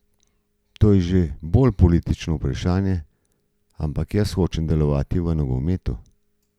To je že bolj politično vprašanje, ampak jaz hočem delovati v nogometu.